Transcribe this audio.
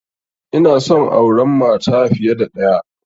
Inason auran mata fiya da ɗaya